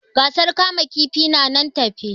Gasar kama kifi na nan tafe